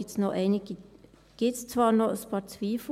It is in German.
Beim GAV gibt es zwar noch ein paar Zweifel.